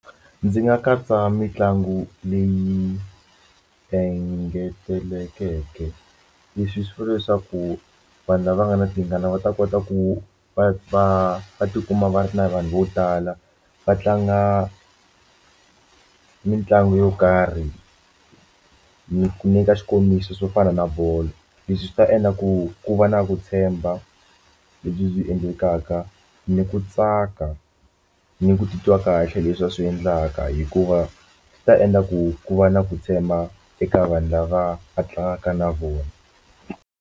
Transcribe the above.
Ndzi nga katsa mitlangu leyi engetelekeke leswi swi vula leswaku vanhu lava nga na tingana va ta kota ku va va va tikuma va ri na vanhu vo tala va tlanga mitlangu yo karhi ni nyika xikombiso swo fana na bolo leswi swi ta endla ku ku va na ku tshemba lebyi byi endlekaka ni ku tsaka ni ku titwa kahle leswi va swi endlaka hikuva swi ta endla ku ku va na ku tshemba eka vanhu lava a tlangaka na vona.